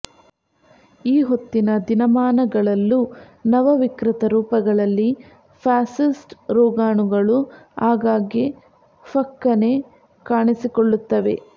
ಈ ಹೊತ್ತಿನ ದಿನಮಾನಗಳಲ್ಲೂ ನವ ವಿಕೃತ ರೂಪಗಳಲ್ಲಿ ಫ್ಯಾಸಿಸ್ಟ್ ರೋಗಾಣುಗಳು ಆಗಾಗ್ಗೆ ಫಕ್ಕನೆ ಕಾಣಿಸಿಕೊಳ್ಳುತ್ತವೆ